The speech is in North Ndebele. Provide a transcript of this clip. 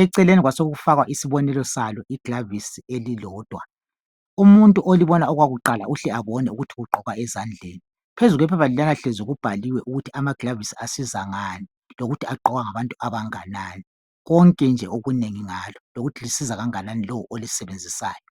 acaleni kwasokufakwa isibonelo salo iglovisi elilodwa. Umuntu olibona okwakuqala uhle abone ukuthi ligqokwa esandleni. Phezu kwephepha leliyana kubhaliwe ukuthi amagilovisi asiza ngani lokuthi agqokwa ngabantu abanganani konke nje okunengi ngalo. Lokuthi lisiza kangakanani lowo olisebenzisayo.